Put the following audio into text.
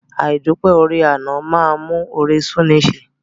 Àìdúpẹ́ oore àná a máa mú oore sú'ni í ṣe.